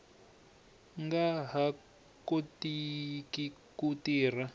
nga ha kotiki ku tirha